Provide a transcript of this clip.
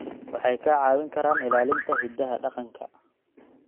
Waxay kaa caawin karaan ilaalinta hidaha dhaqanka.